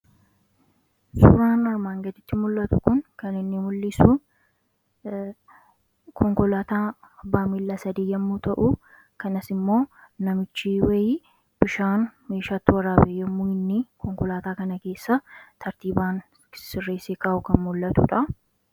Suuraan armaan gaditii mul'atu kun kan mul'isu konkolaataa abbaa miila sadii yoo ta'u, kanas immoo namichi wayii bishaan itti waraabee yemmuu inni konkolaataa kana keessa tartiibaan sirreessee kaa'u kan mul'atudha.